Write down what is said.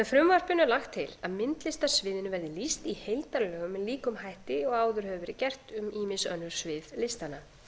frumvarpinu er lagt til að myndlistarsviðinu verði lýst í heildarlögum með líkum hætti og áður hefur verið gert um ýmis önnur svið listanna